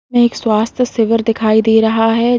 एक स्वास्थ्य शिविर दिखाई दे रहा है।